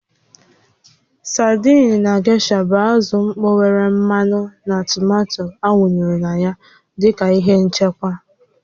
Sadiin na gesha bụ azụ mkpọ nwere mmanụ na tomato awụnyere na ya dị ka ihe nchekwa